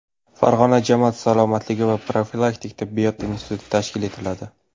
Farg‘ona jamoat salomatligi va profilaktik tibbiyot instituti tashkil etiladi.